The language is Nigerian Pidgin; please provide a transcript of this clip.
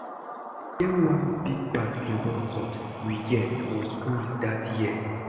E get one big basketball court we get for school dat year